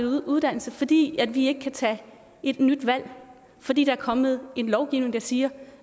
uddannelse fordi vi ikke kan tage et nyt valg fordi der er kommet lovgivning der siger